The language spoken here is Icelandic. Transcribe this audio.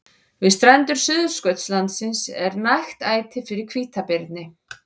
Við strendur Suðurskautslandsins er nægt æti fyrir hvítabirni.